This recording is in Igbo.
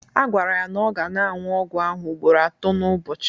Agwara ya na ọ ga na-aṅụ ọgwụ ahụ ugboro atọ n'ụbọchị